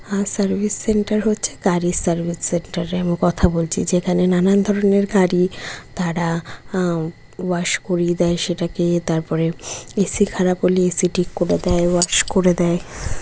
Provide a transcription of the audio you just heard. ফাস service centre হচ্ছে গাড়ি service centre কথা বলছি যেখানে নানান ধরনের গাড়ি তারা আ ওয়াশ করে দেয় সেটাকে তারপরে এ.সি খারাপ হলে এ.সি ঠিক করে দেয় ওয়াশ করে দেয় ।